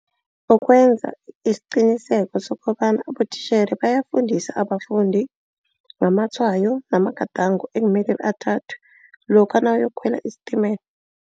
Ukwenza isiqiniseko sokobana abotitjhere bayafundisa abafundi ngamatshwayo magadango ekumele athathwe. Lokha nawuyokukhwela isitimela.